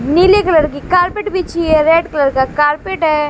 नीले कलर की कारपेट बिछी है रेड कलर का कारपेट है।